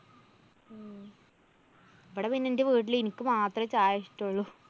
ഇവിടെ പിന്നെ എന്റെ വീട്ടില് എനിക്ക് മാത്രേ ചായ ഇഷ്ട്ടള്ളൂ.